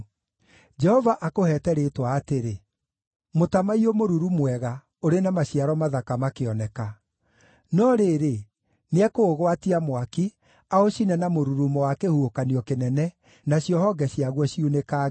Jehova, akũheete rĩĩtwa atĩrĩ: Mũtamaiyũ mũruru mwega ũrĩ na maciaro mathaka makĩoneka. No rĩrĩ, nĩekũũgwatia mwaki, aũcine na mũrurumo wa kĩhuhũkanio kĩnene, nacio honge ciaguo ciunĩkange.